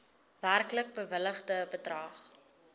werklik bewilligde bedrag